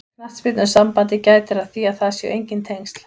Knattspyrnusambandið gætir að því að það séu enginn tengsl.